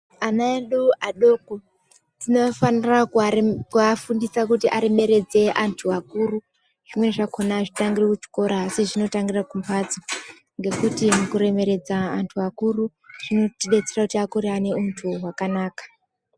Ana edu adoko tinofana kuafundisa kuti aremeredze antu akuru . Zvimweni zvachona azvitangiri kuchikora asi zvinotangira mumhatso ngekuti kuremeredze antu akuru zvinodetsera kuti Akure ane untu wakanaka